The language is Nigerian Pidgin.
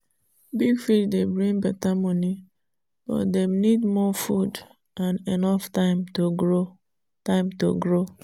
big fish dey bring better money but dem need more food and enough time to grow. time to grow.